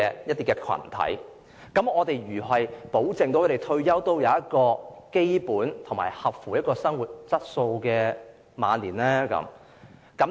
如是者，該如何保證他們在退休後可享有符合基本生活質素的晚年呢？